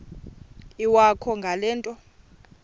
iwakho ngale nto